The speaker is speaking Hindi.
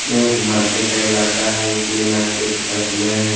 ये एक मार्केट का इलाका है इसमें मार्केट का समय है।